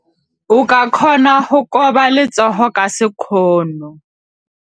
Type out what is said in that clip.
O ka kgona go koba letsogo ka sekgono.